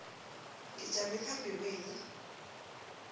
ngijame phambi kwenu